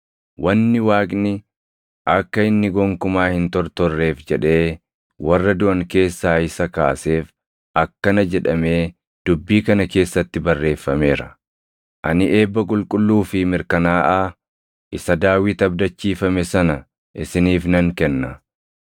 Wanni Waaqni, akka inni gonkumaa hin tortorreef jedhee warra duʼan keessaa isa kaaseef akkana jedhamee dubbii kana keessatti barreeffameera; “ ‘Ani eebba qulqulluu fi mirkanaaʼaa, isa Daawit abdachiifame sana isiniif nan kenna.’ + 13:34 \+xt Isa 55:3\+xt*